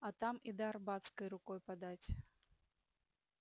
а там и до арбатской рукой подать